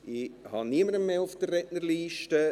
Ich habe niemanden mehr auf der Rednerliste.